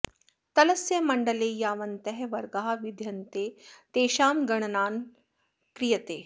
तलस्य मण्डले यावन्तः वर्गाः विद्यन्ते तेषां गणना क्रियते